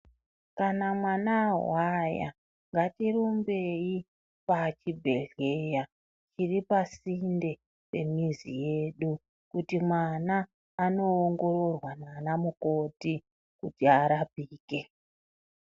Kana mwana awaya, ngatirumbeyi pachibhedhleya, chiripasinde remizi yedu. Kuti mwana anowongororwa nanamukoti kuti arapike.